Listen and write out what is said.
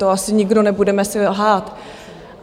To asi nikdo nebudeme si lhát.